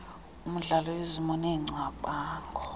womdlalo izimo neengcamango